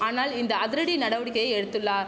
ஆனால் இந்த அதிரடி நடவடிக்கையை எடுத்துள்ளா